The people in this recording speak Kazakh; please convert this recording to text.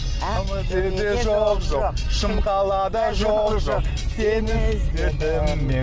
жоқ жоқ шымқалада жоқ жоқ сені іздедім мен